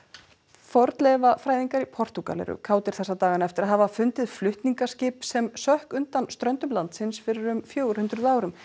fornleifafræðingar í Portúgal eru kátir þessa dagana eftir að hafa fundið flutningaskip sem sökk undan ströndum landsins fyrir um fjögur hundruð árum